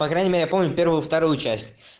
по крайней мере я помню первую вторую часть